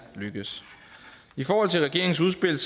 lykkedes i forhold til regeringens udspil